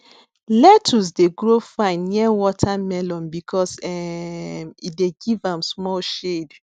lettuce dey grow fine near watermelon because um e dey give am small shade